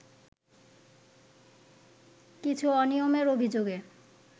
কিছু অনিয়মের অভিযোগে